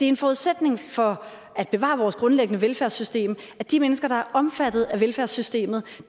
en forudsætning for at bevare vores grundlæggende velfærdssystem at de mennesker der er omfattet af velfærdssystemet